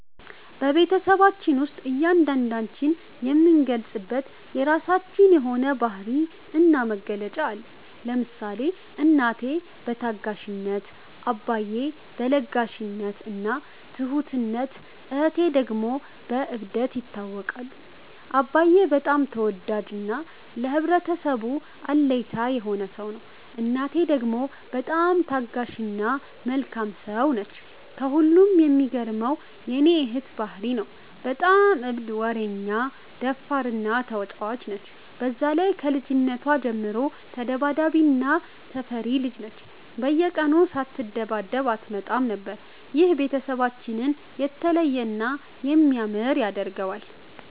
በቤትሰባችን ውስጥ እያንዳንዳችን የምንገለፅበት የራችን የሆነ ባህሪ እና መገለጫ አለን። ለምሳሌ እናቴ በታጋሽነት፣ አባዬ በ ለጋሽነት እና ትሁትነት እህቴ ደግሞ በ እብደት ይታወቃሉ። አባዬ በጣም ተወዳጅ እና ለህብረተሰቡ አለኝታ የሆነ ሰው ነው። እናቴ ደግሞ በጣም ታጋሽ እና መልካም ሰው ነች። ከሁሉም የሚገርመው የ እህቴ ባህሪ ነው። በጣም እብድ፣ ወረኛ፣ ደፋር እና ተጫዋች ነች። በዛ ላይ ከልጅነቷ ጀምሮ ተዳባዳቢ እና ተፈሪ ልጅ ነች፤ በየቀኑ ሳትደባደብ አትመጣም ነበር። ይህ ቤተሰባችንን የተለየ እና የሚያምር ያደርገዋል።